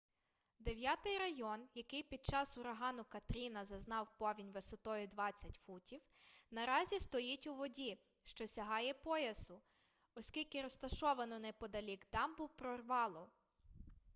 дев'ятий район який під час урагану катріна зазнав повінь висотою 20 футів наразі стоїть у воді що сягає поясу оскільки розташовану неподалік дамбу прорвало